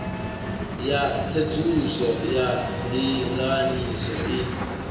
ya tsedzuluso ya ndinganyiso i